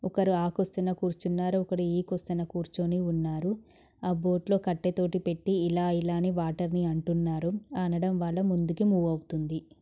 ఒకరు ఆ కోసన కూర్చున్నారు. ఒకడు ఈ కొసన కూర్చుని ఉన్నారు. ఆ బోటు లో కట్టెతోటి పెట్టి ఇలా ఇలా అని వాటర్ ని అంటున్నారు. అనడం వల్ల ముందుకు మూవ్ అవుతుంది.